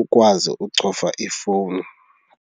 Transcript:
ukwazi ucofa ifowuni.